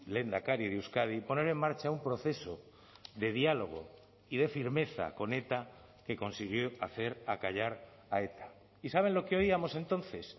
lehendakari de euskadi poner en marcha un proceso de diálogo y de firmeza con eta que consiguió hacer acallar a eta y saben lo que oíamos entonces